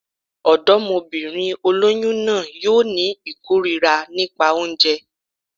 Ọ̀dọ́mọbìnrin olóyún náà yóò ní ìkórira nípa oúnjẹ